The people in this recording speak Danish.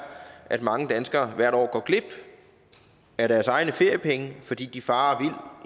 at mange danskere hvert år går glip af deres egne feriepenge fordi de farer